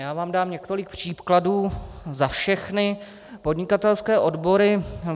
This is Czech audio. Já vám dám několik příkladů za všechny podnikatelské odbory.